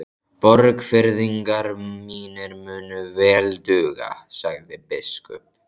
Borgfirðingar mínir munu vel duga, sagði biskup.